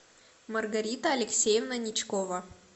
маргарита алексеевна ничкова